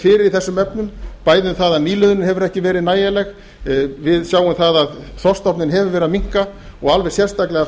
fyrir í þessum efnum bæði um það að nýliðunin hefur ekki verið nægjanleg við sjáum að þorskstofninn hefur verið að minnka og alveg sérstaklega